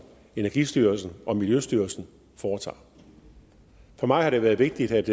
energistyrelsen og miljøstyrelsen foretager for mig har det været vigtigt at